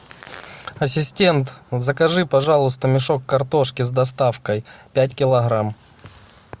ассистент закажи пожалуйста мешок картошки с доставкой пять килограмм